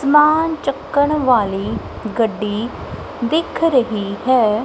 ਸਮਾਨ ਚੱਕਣ ਵਾਲੀ ਗੱਡੀ ਦਿਖ ਰਹੀ ਹੈ।